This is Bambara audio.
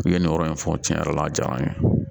U ye nin yɔrɔ in fɔ cɛn yɛrɛ la a jara n ye